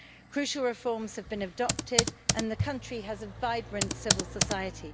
Crucial reforms have been adopted and the country has a vibrant civil society.